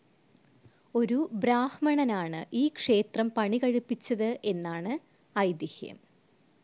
ഒരു ബ്രാഹ്മണനാണ് ഈ ക്ഷേത്രം പണികഴിപ്പിച്ചത് എന്നാണ് ഐതിഹ്യം.